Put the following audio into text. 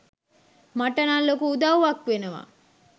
මටනං ලොකු උදව්වක් වෙනවා.